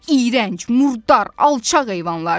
Onlar iyrənc, murdar, alçaq heyvanlardır.